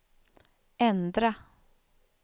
ändra